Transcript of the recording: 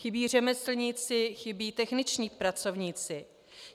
Chybí řemeslníci, chybí techničtí pracovníci.